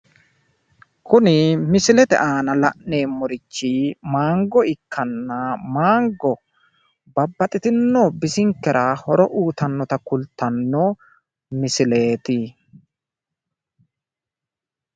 kuni misilete aana la'neemmorichi maango ikkitanna maango babaxitino bisinkera horo uyiitanno kultanno sagaleeti.